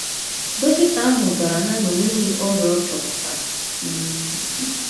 Dọkịta ahụ gwara ha na o nweghị ọrịa a chọpụtara um.